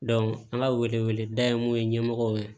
an ka wele wele da ye mun ye ɲɛmɔgɔw ye